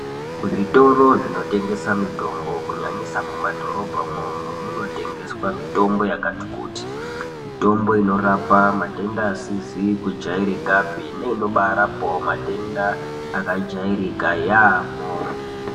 Zvitoro zvinotengesa mitombo kunyanyisa mumadhorobha mwomwo munotengeswa mitombo yakati kuti. Mitombo inorapa matenda asizi kujairikapi neinobarapawo matenda akajairika yaamho.